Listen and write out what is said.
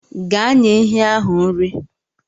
Gaa nye ehi ahụ nri.